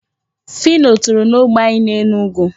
Phyno toro n'ógbè anyị n'Enugu.